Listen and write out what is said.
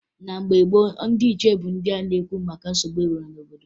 Na mgbe gboo, ndị ichie bụ ndị na-ekwu maka nsogbu e nwere n'obodo